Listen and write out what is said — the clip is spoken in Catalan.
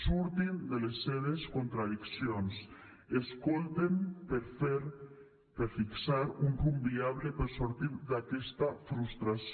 surtin de les seves contradiccions i escolten per fer per fixar un rumb viable per sortir d’aquesta frustració